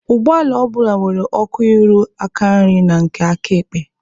Ụgbọala ọ bụla nwere ọkụ ịrụ aka nri na nke aka ekpe